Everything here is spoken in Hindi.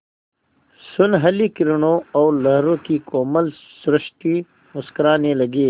सुनहली किरणों और लहरों की कोमल सृष्टि मुस्कराने लगी